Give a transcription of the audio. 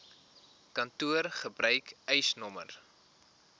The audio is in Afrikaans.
kantoor gebruik eisnr